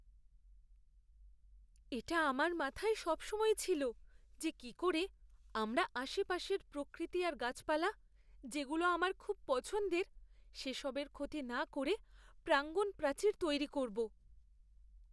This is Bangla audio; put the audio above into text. এটা আমার মাথায় সবসময় ছিল যে কী করে আমরা আশেপাশের প্রকৃতি আর গাছপালা যেগুলো আমার খুব পছন্দের, সেসবের ক্ষতি না করে প্রাঙ্গণ প্রাচীর তৈরি করব!